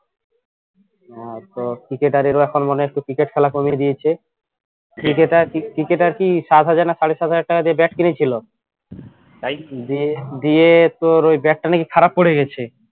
হ্যাঁ তো cricketer রাও এখন মানে একটু cricket খেলা কমিয়ে দিয়েছে cricketer cricketer কি সাত হাজার না সাড়ে সাত হাজার টাকা দিয়ে bat কিনেছিল তাই দিয়ে দিয়ে তোর ওই bat টা নাকি খারাপ পড়ে গেইছে